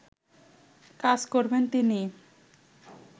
কাজ করবেন তিনি